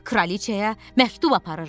Kraliçaya məktub aparıram.